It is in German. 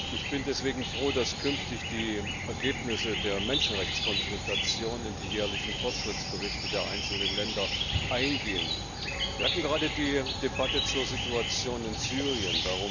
Ich bin deswegen froh, dass künftig die Ergebnisse der Menschenrechtskonsultation in die jährlichen Fortschrittsberichte der einzelnen Länder eingehen. Wir hatten gerade die Debatte zur Situation in Syrien.